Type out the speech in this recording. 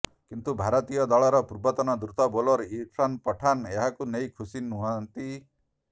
କିନ୍ତୁ ଭାରତୀୟ ଦଳର ପୂର୍ବତନ ଦ୍ରୁତ ବୋଲର ଇରଫାନ ପଠାନ ଏହାକୁ ନେଇ ଖୁସି ନାହାଁନ୍ତି